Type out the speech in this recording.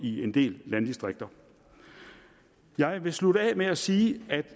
i en del landdistrikter jeg vil slutte af med at sige at